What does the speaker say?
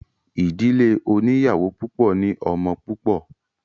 Ìdílé oníyàwó púpọ̀ ní ọmọ púpọ̀.